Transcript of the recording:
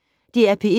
DR P1